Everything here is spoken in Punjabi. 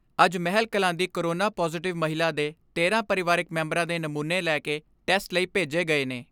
ਅੱਜ ਮਹਿਲਕਲਾਂ ਦੀ ਕੋਰੋਨਾ ਪਾਜ਼ੇਟਿਵ ਮਹਿਲਾ ਦੇ ਤੇਰਾਂ ਪਰਿਵਾਰਕ ਮੈਂਬਰਾਂ ਦੇ ਨਮੂਨੇ ਲੈ ਕੇ ਟੈਸਟ ਲਈ ਭੇਜ ਗਏ ਨੇ।